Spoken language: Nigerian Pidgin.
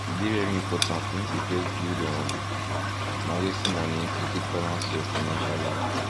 e dey very important make you first build um emergency money to take balance ur financial life